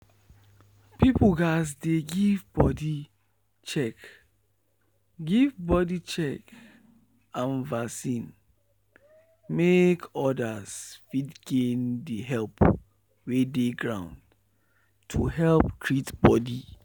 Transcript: people gatz dey give body check give body check and vaccine make others fit gain the help wey dey ground to help treat body.